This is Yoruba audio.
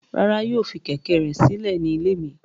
Rara, yoo fi kẹ̀kẹ́ rẹ silẹ ni ile mi